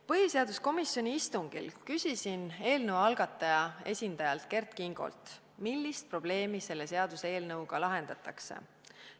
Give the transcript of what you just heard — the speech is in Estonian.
Põhiseaduskomisjoni istungil küsisin eelnõu algataja esindajalt Kert Kingolt, millist probleemi selle seaduseelnõuga lahendatakse.